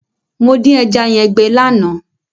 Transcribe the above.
Mo dín ẹja yẹn gbẹ lánàá.